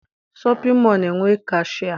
Shọpịn mọọ na- enwe kashịa